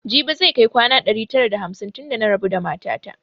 Jibi zai kai kwana ɗari tara da hamsin tun da na rabu da mata ta